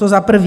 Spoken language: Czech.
To za prvé.